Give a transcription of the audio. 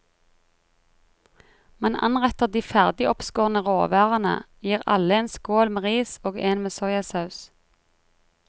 Man anretter de ferdig oppskårne råvarene, gir alle en skål med ris og en med soyasaus.